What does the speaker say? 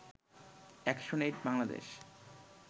action এইড-বাংলাদেশ